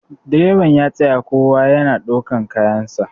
direban ya tsaya a tasha kowa yana daukar kayansa